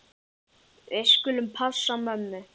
Við skulum passa mömmu.